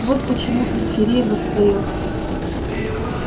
вот почему периферия восстаёт